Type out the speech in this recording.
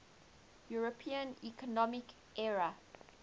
european economic area